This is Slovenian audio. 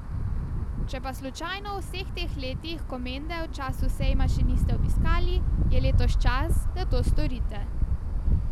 Če pa slučajno v vseh teh letih Komende v času sejma še niste obiskali, je letos čas, da to storite.